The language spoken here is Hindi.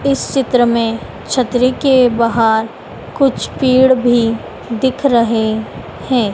इस चित्र में छतरी के बाहर कुछ पेड़ भी दिख रहे हैं।